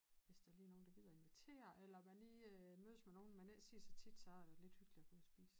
Hvis der lige er nogen der gider invitere eller man lige mødes med nogen man ikke ser så tit så er det lidt hyggeligt at være ude at spise